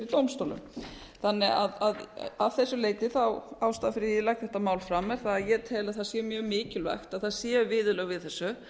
dómstólum að þessu leyti ástæðan fyrir því að ég legg þetta mál fram er að ég tel að það sé mjög mikilvægt að það séu viðurlög við þessu